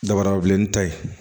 Dabarabilen ta ye